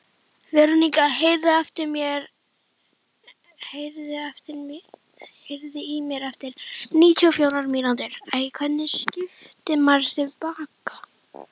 Verónika, heyrðu í mér eftir níutíu og fjórar mínútur.